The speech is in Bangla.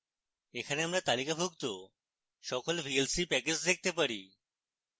এখানে আমরা তালিকাভুক্ত সকল vlc প্যাকেজ দেখতে পারি